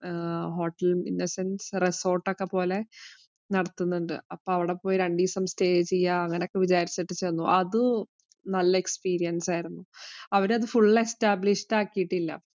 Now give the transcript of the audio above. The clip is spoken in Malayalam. hotel innocent resort ഒക്കെ പോലെ നടത്തുന്നുണ്ട്. അവിടെ പോയി രണ്ടീസ stay ചെയ്യാം അങ്ങനൊക്കെ വിചാരിച്ചിട്ട് ചെന്നു. അത് നല്ല experience ആയിരുന്നു. അവിടെ അത് full establish ആക്കീട്ടില്ല.